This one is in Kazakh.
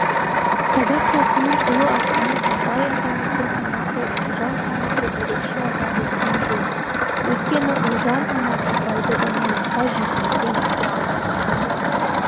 қазақ халқының ұлы ақыны абай атамыздың анасы ұлжан ханымды ерекше атап өткен жөн өйткені ұлжан ана абайды даналыққа жетелеген адам